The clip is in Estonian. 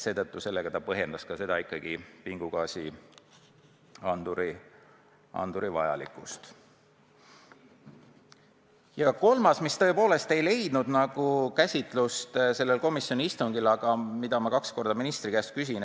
On ka üks teema, mis tegelikult sellel komisjoni istungil jutuks ei tulnud, aga mille kohta ma täna kaks korda ministri käest küsisin.